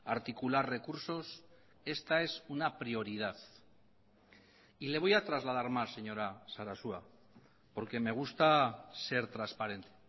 articular recursos esta es una prioridad y le voy a trasladar más señora sarasua porque me gusta ser transparente